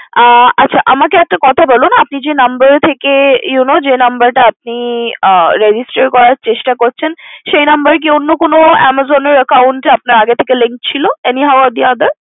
আচ্ছা আমাকে একটা কথা বলুন আপনি যে number থেকে you know যে number টা আপনি register করার চেষ্টা করছেন সেই number কি অন্য কোনো Amazon account এ আগে থেকে link ছিল any how or other